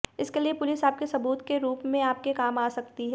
इसके लिए पुलिस आपके सबूत के रूप में आपके काम आ सकती है